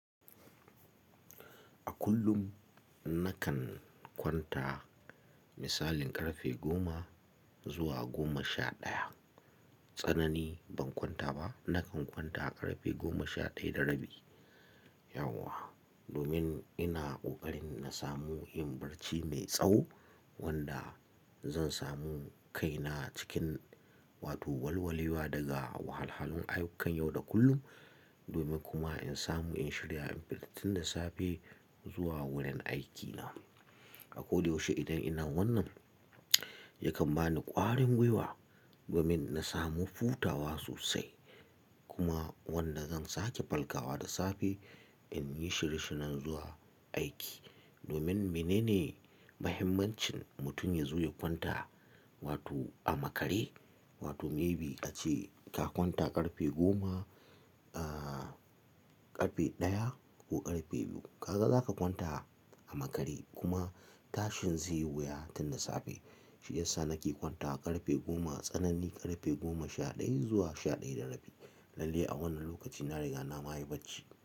A kullum nakan kwanta misalin ƙarfe goma zuwa goma sha ɗaya. Tsanani ban kwanta ba, nakan kwanta ƙarfe goma sha ɗaya da rabi. Yauwa domin ina ƙoƙarin na samu yin barci mai tsawo wanda zan samu kaina cikin wato walwalewa daga wahalhalun ayyukan yau da kullum. Domin kuma in samu in shirya in fita tun da safe zuwa wurin aikina. A ko da yaushe idan ina wannan yakan bani ƙwarin gwiwa domin na samu hutawa sosai kuma wanda zan sake falkawa da safe in yi shirye-shiryen zuwa aiki. Domin menene mahimmancin mutum yazo ya kwanta wato a makare? Wato may be ace ka kwanta ƙarfe goma, ƙarfe ɗaya ko ƙarfe biyu. Ka ga za ka kwanta a makare kuma tashin zai yi wuya tun da safe. Shi ya sa nake kwantawa ƙarfe goma, tsanani ƙarfe goma sha ɗaya zuwa sha ɗaya da rabi. Lalle a wannan lokaci na riga na ma yi barci.